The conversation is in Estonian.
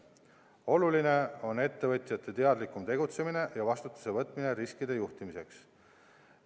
Oluline on ettevõtjate teadlikum tegutsemine ja vastutuse võtmine riskide juhtimiseks.